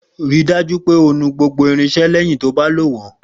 Rí i dájú pé o nu gbogbo irinṣẹ́ lẹ́yìn tí o bá lò wọ́n.